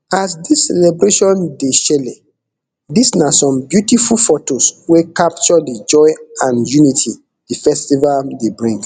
as dis celebration dey shele dis na some beautiful fotos wey capture di joy and unity di festival dey bring